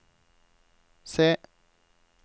C